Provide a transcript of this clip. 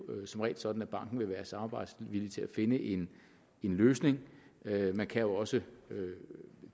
som regel sådan at banken vil være samarbejdsvillig til at finde en løsning man kan også